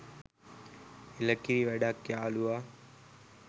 එළකිරි වැඩක් යාලුවා